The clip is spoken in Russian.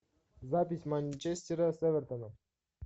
запись манчестера с эвертоном